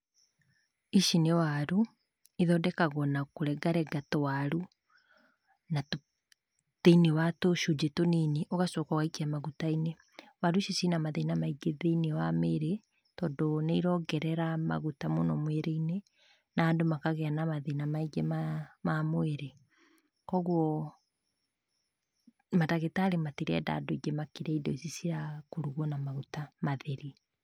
Ici nĩ waru ithondekagwo na kũrengarenga tũwaru thĩinĩ wa tũcujĩ tũnini ũgacoka ũgaikia magũtainĩ waru ici cina mathĩna maingĩ thĩinĩ wa mĩĩrĩ tondũ nĩirongerera maguta mũno mwĩrĩinĩ, na andũ makaagĩa na mathĩna maingĩ ma mwĩrĩ. kwoguo madagĩtarĩ matĩrenda andũ marĩe indo ici cia kũruga n a maguta matheri.